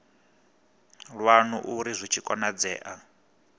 lwanu arali zwi tshi konadzea